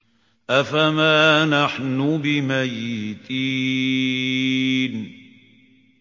أَفَمَا نَحْنُ بِمَيِّتِينَ